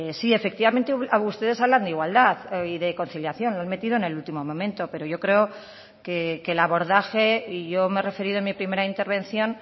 sí efectivamente ustedes hablan de igualdad y de conciliación lo han metido en el último momento pero yo creo que el abordaje y yo me he referido en mi primera intervención